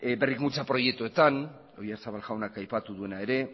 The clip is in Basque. berrikuntza eta prestakuntza proiektuetan oyarzabal jaunak aipatu duena ere